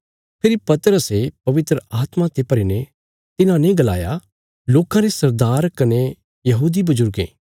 फेरी पतरसे पवित्र आत्मा ते भरी ने तिन्हांने गलाया लोकां रे सरदार कने बजुर्गें